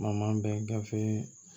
Ma bɛ gafe